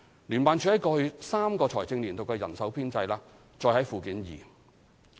聯辦處在過去3個財政年度的人手編制載於附件二。